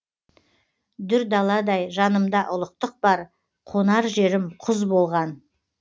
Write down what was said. дүр даладай жанымда ұлықтық бар қонар жерім құз болған